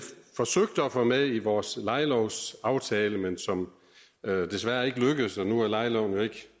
forsøgte at få med i vores lejelovsaftale men som desværre ikke lykkedes nu er lejeloven jo ikke